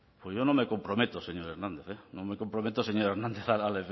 pues yo no me comprometo señor hernández no me comprometo señor hernández a